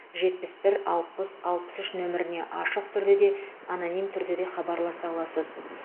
жетпіс бір алпыс алпыс үш нөміріне ашық түрде де аноним түрде де хабарласа аласыз